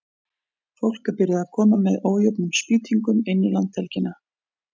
Fólk er byrjað að koma með ójöfnum spýtingum inn í landhelgina.